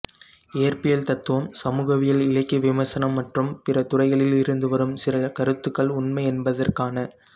இயற்பியல் தத்துவம் சமூகவியல் இலக்கிய விமர்சனம் மற்றும் பிற துறைகளில் இருந்து வரும் சில கருத்துக்கள் உண்மை என்பதற்கான